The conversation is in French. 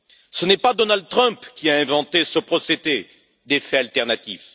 Ce n'est pas Donald Trump qui a inventé ce procédé des faits alternatifs.